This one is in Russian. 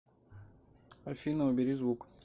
афина убери звук